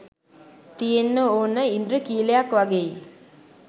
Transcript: තියෙන්නෙ ඕන ඉන්ද්‍රඛීලයක් වගෙයි